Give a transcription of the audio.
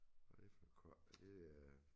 Hvad det for et kort er det øh